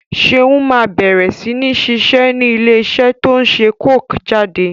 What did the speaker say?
Seun má bẹ̀rẹ̀ sini ṣiṣẹ́ ni ilé iṣẹ́ to ń ṣe coke jáde